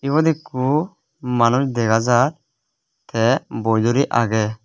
eyot ikko manus dega jaar tey boi duri agey.